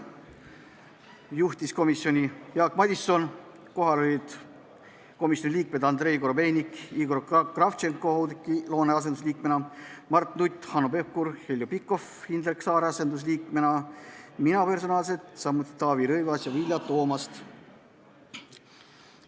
Seda juhtis Jaak Madison, kohal olid komisjoni liikmed Andrei Korobeinik, Igor Kravtšenko Oudekki Loone asendusliikmena, Mart Nutt, Hanno Pevkur, Heljo Pikhof Indrek Saare asendusliikmena, mina, samuti Taavi Rõivas ja Vilja Toomast.